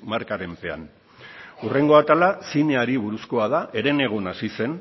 markaren pean hurrengo atala zineari buruzkoa da herenegun hasi zen